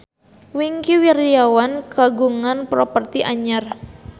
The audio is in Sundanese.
Wingky Wiryawan kagungan properti anyar